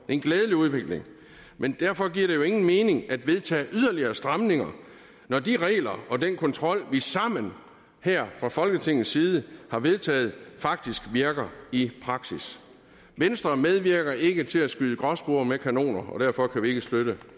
en glædelig udvikling men derfor giver det jo ingen mening at vedtage yderligere stramninger når de regler og den kontrol vi sammen her fra folketingets side har vedtaget faktisk virker i praksis venstre medvirker ikke til at skyde gråspurve med kanoner og derfor kan vi ikke støtte